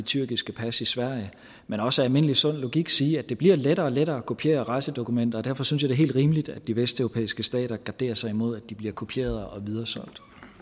tyrkiske pas i sverige men også almindelig sund logik siger at det bliver lettere og lettere at kopiere rejsedokumenter og derfor synes jeg helt rimeligt at de vesteuropæiske stater garderer sig imod at de bliver kopieret og videresolgt